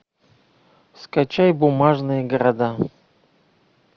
скачай бумажные города